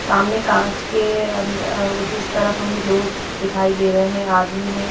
सामने कांच के अंद उस तरफ हमें लोग दिखाई दे रहे हैं आदमी हैं।